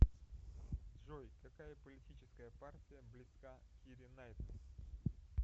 джой какая политическая партия близка кире наитли